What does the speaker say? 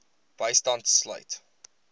bystand sluit